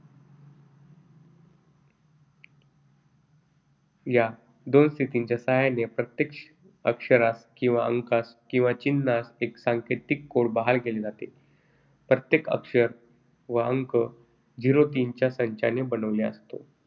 या दोन स्थितींच्या सहाय्याने प्रत्येक अक्षरास किंवा अंकास किंवा चिन्हास एक सांकेतिक कोड़ बहाल केले जाते. प्रत्येक अक्षर व अंक zero तीनच्या संचाने बनलेला असतो.